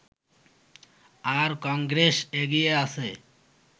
আর কংগ্রেস এগিয়ে আছে